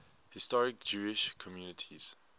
historic jewish communities